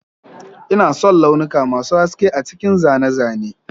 Ina son launuka masu haske a cikin zane-zane